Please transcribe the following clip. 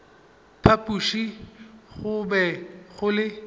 phapoši go be go le